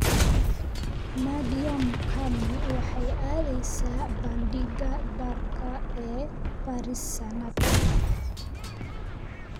Nadia Mukami waxay aadaysaa Bandhigga Dharka ee Paris sanadkan